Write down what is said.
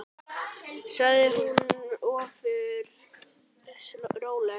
sagði hún ofur rólega.